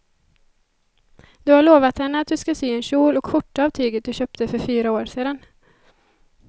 Du har lovat henne att du ska sy en kjol och skjorta av tyget du köpte för fyra år sedan.